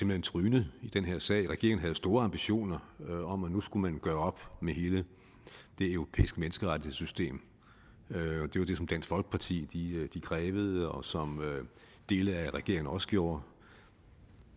blev trynet i den her sag regeringen havde jo store ambitioner om at nu skulle man gøre op med hele det europæiske menneskerettighedssystem det var det som dansk folkeparti krævede og som dele af regeringen også gjorde og